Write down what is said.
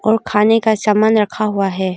और खाने का सामान रखा हुआ है।